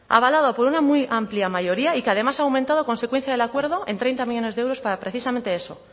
avalado por una amplia mayoría y que además ha aumentado a consecuencia del acuerdo en treinta millónes de euros para precisamente eso